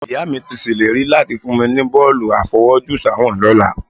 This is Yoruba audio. Ìyá mi ti ṣèlérí láti fún mi ní bọ́ọ̀lù àfọwọ́jùsáwọ̀n lọ́la